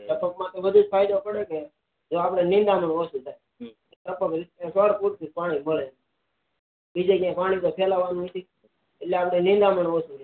ટપક માં તો વધુ જ ફાયદો પડે કે જો આપડે નિદામણ ઓછુ થાય ટપક માં છોડ પુરુતુ પાણી મળે બીજું કઈ પાણી ફેલાવાનું નહી એટલે આપડે નિદામણ ઓછુ રે